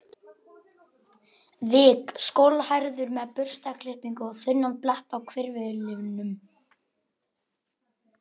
vik, skolhærður með burstaklippingu og þunnan blett á hvirflinum.